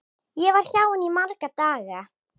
Ég var hjá henni í marga daga.